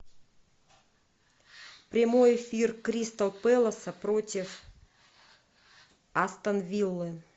прямой эфир кристал пэласа против астон виллы